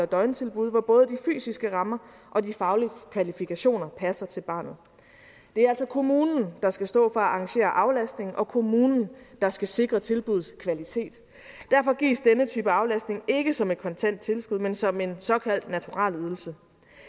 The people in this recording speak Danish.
døgntilbud hvor både de fysiske rammer og de faglige kvalifikationer passer til barnet det er altså kommunen der skal stå at arrangere aflastningen og kommunen der skal sikre tilbuddets kvalitet derfor gives denne type aflastning ikke som et kontant tilskud men som en såkaldt naturalieydelse